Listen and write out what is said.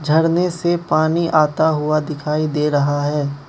झरने से पानी आता हुआ दिखाई दे रहा है।